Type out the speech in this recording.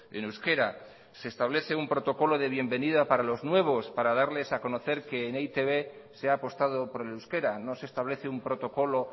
en euskera se establece un protocolo de bienvenida para los nuevos para darles a conocer que en e i te be se ha apostado por el euskera no se establece un protocolo